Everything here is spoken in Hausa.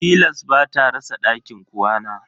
Tilas bata rasa dakin ƙwana.